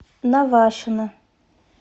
навашино